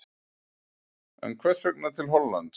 En hvers vegna til Hollands?